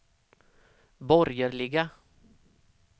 borgerliga